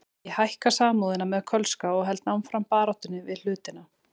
Ég hækka Samúðina með Kölska og held áfram baráttunni við hlutina.